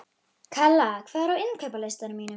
Kalla, hvað er á innkaupalistanum mínum?